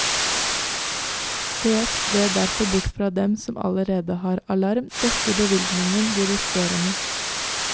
Sees det derfor bort fra dem som allerede har alarm, dekker bevilgningen de resterende.